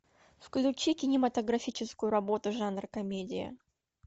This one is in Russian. включи кинематографическую работу жанр комедия